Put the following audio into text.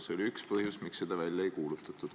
See oli üks põhjus, miks seda seadust välja ei kuulutatud.